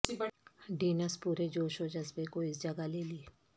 Dennis پورے جوش و جذبے کو اس جگہ لے لی